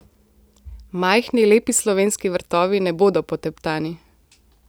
Majhni, lepi slovenski vrtovi ne bodo poteptani.